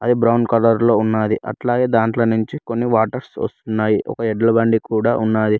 అది brown colour లో ఉన్నది అట్లాగే దాంట్లో నుంచి కొన్ని వాటర్ ఒక ఎడ్ల బండి కూడా ఉన్నది.